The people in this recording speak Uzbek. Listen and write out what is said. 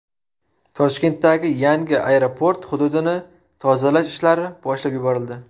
Toshkentdagi yangi aeroport hududini tozalash ishlari boshlab yuborildi.